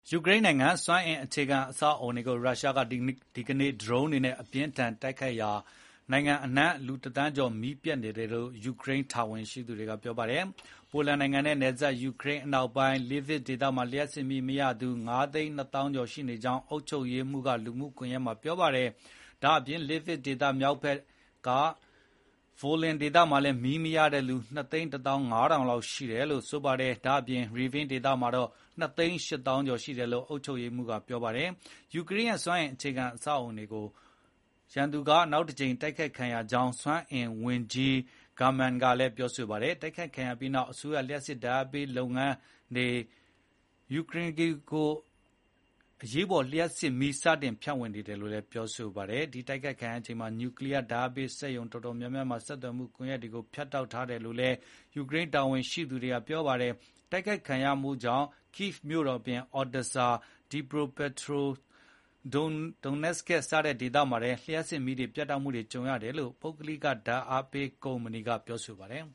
ယူကရိန်းနိုင်ငံ စွမ်းအင်အခြေခံအဆောက်အအုံတွေကို ရုရှားက ဒီကနေ့ ဒရုန်းတွေနဲ့ အပြင်းအထန် တိုက်ခိုက်ခဲ့ရာကနိုင်ငံအနှံ့ လူတသန်းကျော် မီးပြတ်နေတယ်လို့ ယူကရိန်းတာဝန်ရှိသူတွေက ပြောပါတယ်။ ပိုလန်နိုင်ငံနဲ့နယ်စပ် ယူကရိန်းအနောက်ပိုင်း Lviv ဒေသမှာ လျှပ်စစ်မီးမရသူ ၅၂၃,၀၀၀ ရှိနေကြောင်း အုပ်ချုပ်ရေးမှူး Maksym Kozytsky က လူမှုကွန်ရက်မှာ ပြောခဲ့တာပါ။ Lviv ဒေသ မြောက်ဖက်က Volyn မှာ မီးမရတဲ့သူ ၂၁၅,၀၀၀ နဲ့ ကပ်လျက်ရှိနေတဲ့ Rivne ဒေသမှာ တော့ ၂၈၀,၀၀၀ ရှိတယ်လို့လည်း အုပ်ချုပ်ရေးမှူး Oleksandr Koval ကပြောပါတယ်။ ယူကရိန်းရဲ့ စွမ်းအင်အခြေခံအဆောက်အုံတွေကို နောက်တကြိမ် ရန်သူတိုက်ခိုက်ခံရကြောင်း စွမ်းအင်ဝန်ကြီး German Galushchenko ကလည်း ပြောဆိုခဲ့တာပါ။ တိုက်ခိုက်ခံရပြီးနောက် အစိုးရ လျှပ်စစ်ဓာတ် အားပေးလုပ်ငန်း Ukrenergo က အရေးပေါ် လျှပ်စစ်မီး စတင်ဖြန့်ဝေနေတယ်လို့လည်း ပြောပါတယ်။ တိုက်ခိုက်ခံရချိန်မှာ နျူကလီးယားဓာတ်အားပေး စက်ရုံတော်တော်များများမှာ ဆက်သွယ်မှု ကွန်ရက်တွေကို ဖြတ်တောက်ထားခဲ့တယ်လို့လည်း ယူကရိန်းတာဝန်ရှိသူတွေက ပြောပါတယ်။ တိုက်ခိုက်ခံရမှုကြောင့် Kyiv မြို့တော်အပြင်Odesa, Dnipropetrovsk နဲ့ Donetsk ဒေသတွေမှာ လျှပ်စစ်မီးပြတ်တောက်ခဲ့ရတယ်လို့လည်း ပုဂ္ဂလိက လျှပ်စစ်ဓာတ်အားပေး ကုမ္ပဏီ DTEK က ပြောပါတယ်